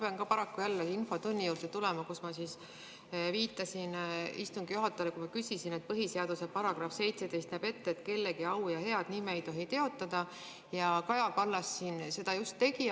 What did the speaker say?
Ma pean ka paraku jälle infotunni juurde tulema, kus ma viitasin istungi juhatajale küsimust esitades, et põhiseaduse § 17 näeb ette, et kellegi au ja head nime ei tohi teotada, aga Kaja Kallas seda siin just tegi.